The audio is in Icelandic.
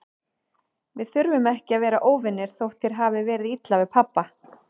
Við þurfum ekki að vera óvinir, þótt þér hafi verið illa við pabba.